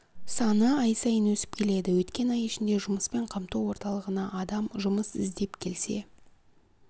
саны ай сайын өсіп келеді өткен ай ішінде ұмыспен қамту орталығына адам жұмыс іздеп келсе